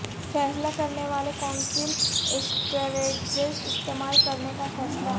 فیصلہ کرنے والے کونسل اسٹریٹجیز استعمال کرنے کا فیصلہ